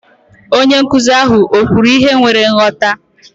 Onye nkụzi ahụ o kwuru ihe nwere nghọta?